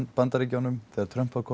Bandaríkjunum þegar Trump var